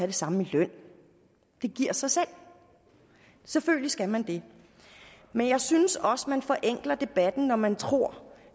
det samme i løn det giver sig selv selvfølgelig skal man det men jeg synes også man forenkler debatten når man tror